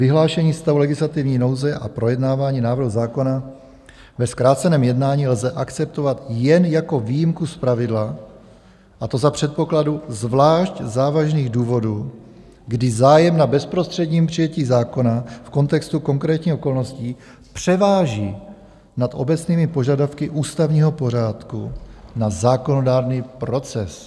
Vyhlášení stavu legislativní nouze a projednávání návrhu zákona ve zkráceném jednání lze akceptovat jen jako výjimku z pravidla, a to za předpokladu zvlášť závažných důvodů, kdy zájem na bezprostředním přijetí zákona v kontextu konkrétních okolností převáží nad obecnými požadavky ústavního pořádku na zákonodárný proces.